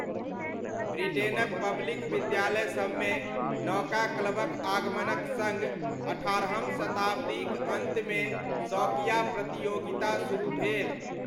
ब्रिटेनक public विद्यालयसबमे 'नौका क्लब'क आगमनक सङ्ग अट्ठारहम शताब्दीक अन्तमे शौकिया प्रतियोगिता शुरू भेल।